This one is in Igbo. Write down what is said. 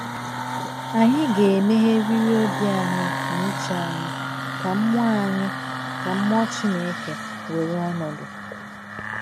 Anyị ga-emegheriri obi na uche anyị ka mmụọ anyị ka mmụọ Chineke were ọnọdụ.